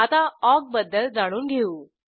आता ऑक बद्दल जाणून घेऊ